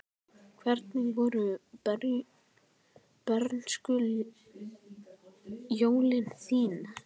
Hvernig voru bernskujólin þín?